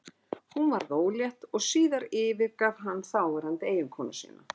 Hún varð ólétt og síðar yfirgaf hann þáverandi eiginkonu sína.